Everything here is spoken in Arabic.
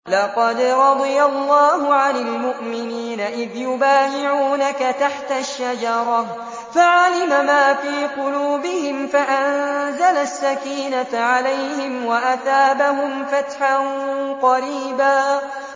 ۞ لَّقَدْ رَضِيَ اللَّهُ عَنِ الْمُؤْمِنِينَ إِذْ يُبَايِعُونَكَ تَحْتَ الشَّجَرَةِ فَعَلِمَ مَا فِي قُلُوبِهِمْ فَأَنزَلَ السَّكِينَةَ عَلَيْهِمْ وَأَثَابَهُمْ فَتْحًا قَرِيبًا